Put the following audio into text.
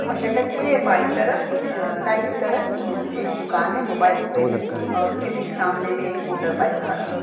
और शटर के बाईं तरफ अ दाहिनी तरफ एक दुकान है मोबाइल रिपेयरिंग की और उसके ठीक सामने में एक मोटरबाइक खड़ा है।